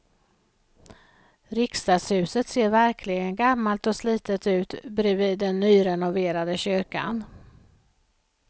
Riksdagshuset ser verkligen gammalt och slitet ut bredvid den nyrenoverade kyrkan.